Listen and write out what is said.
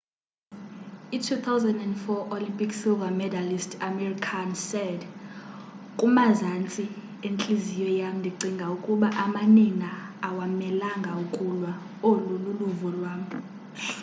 i 2004 olympic silver medallist amir khan said kumazantsi entliziyo yam ndicinga ukuba amanina awamelanga ukulwa olu luluvo lwam